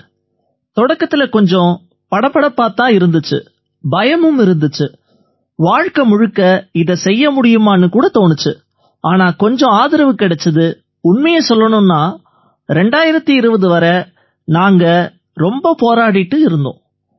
sir தொடக்கத்தில கொஞ்சம் படபடப்பாத் தான் இருந்திச்சு பயமும் இருந்திச்சு வாழ்க்கை முழுக்க இதைச் செய்ய முடியுமான்னு கூட தோணிச்சு ஆனா கொஞ்சம் ஆதரவு கிடைச்சுது உண்மையைச் சொல்லணும்னா 2020 வரை நாங்க ரொம்ப போராடிக்கிட்டு இருந்தோம்